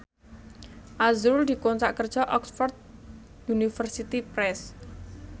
azrul dikontrak kerja karo Oxford University Press